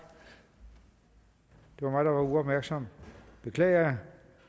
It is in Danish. det var mig der var uopmærksom det beklager jeg